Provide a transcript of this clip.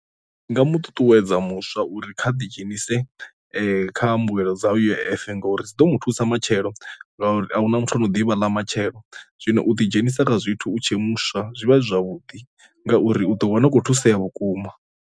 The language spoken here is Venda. Ndi nga mu ṱuṱuwedza muswa uri kha ḓi dzhenise kha mbuelo dza U_I_F ngauri dzi ḓo mu thusa matshelo ngori ahuna muthu ano ḓivha ḽa matshelo, zwino u ḓidzhenisa kha zwithu u tshe muswa zwi vha zwi zwavhuḓi ngauri u ḓo wana u khou thusesa vhukuma.